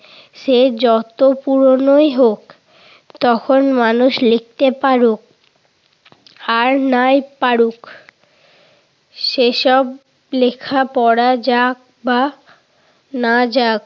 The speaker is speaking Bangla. সে যত পুরোনোই হোক। তখন মানুষ লিখতে পারুক আর নাই পারুক সেসব লেখা পড়া যাক বা না যাক।